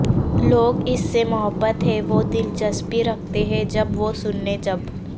لوگ اس سے محبت ہے وہ دلچسپی رکھتے ہیں جب وہ سننے جب